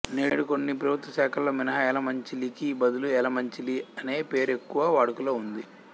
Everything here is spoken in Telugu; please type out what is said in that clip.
నేడు కొన్ని ప్రభుత్వ శాఖలులో మినహా ఎలమంచిలికి బదులు యలమంచిలి అనే పేరు ఎక్కువ వాడుకలో ఉంది